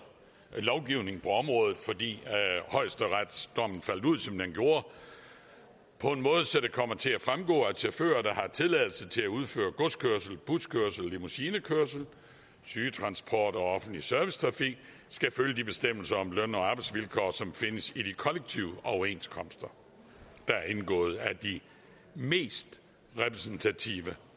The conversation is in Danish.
lovgivningen på området fordi højesteretsdommen faldt ud som den gjorde på en måde så det kommer til at fremgå at chauffører der har tilladelse til at udføre godskørsel buskørsel limousinekørsel sygetransport og offentlig servicetrafik skal følge de bestemmelser om løn og arbejdsvilkår som findes i de kollektive overenskomster der er indgået af de mest repræsentative